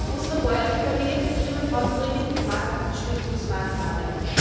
Unsere bäuerlichen Familienbetriebe brauchen dringend Marktstützungsmaßnahmen.